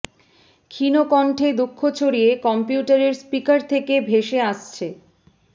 ক্ষীণ কন্ঠে দুঃখ ছড়িয়ে কম্পিউটারের স্পিকার থেকে ভেসে আসছে